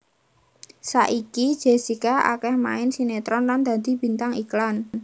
Saiki Jessica akéh main sinetron lan dadi bintang iklan